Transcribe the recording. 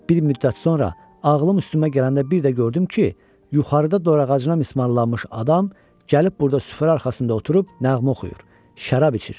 Bir müddət sonra ağlım üstümə gələndə bir də gördüm ki, yuxarıda dor ağacına mismarlanmış adam gəlib burada süfrə arxasında oturub nəğmə oxuyur, şərab içir.